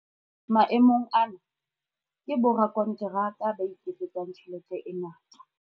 Maemong ana, ke borakonteraka ba iketsetsang tjhelete e ngata.